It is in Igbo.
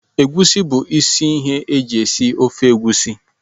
Egwusi bu isi ihe eji esi ofe egwusi.